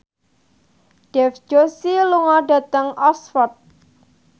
Dev Joshi lunga dhateng Oxford